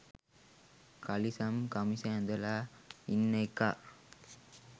කලිසම් කමිස ඇඳලා ඉන්න එකා